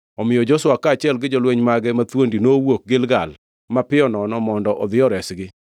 Omiyo Joshua kaachiel gi jolweny mage mathuondi nowuok Gilgal mapiyo nono mondo odhi oresgi.